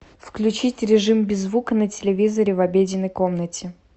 включить режим без звука на телевизоре в обеденной комнате